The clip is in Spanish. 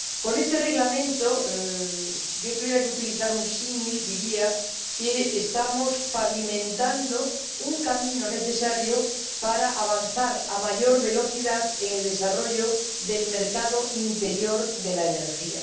Con este Reglamento, si yo tuviera que utilizar un símil, diría que estamos pavimentando un camino necesario para avanzar a mayor velocidad en el desarrollo del mercado interior de la energía.